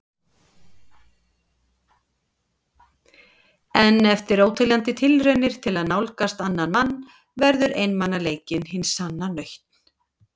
En eftir óteljandi tilraunir til að nálgast annan mann verður einmanaleikinn hin sanna nautn.